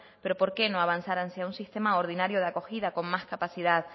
pero por qué no avanzar hacia un sistema ordinario de acogida con más capacidad